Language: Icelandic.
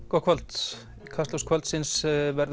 gott kvöld kastljós kvöldsins verður